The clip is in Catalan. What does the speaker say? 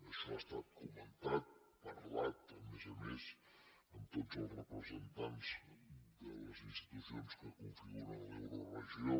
això ha estat comentat parlat a més a més amb tots els representants de les institucions que configuren l’euroregió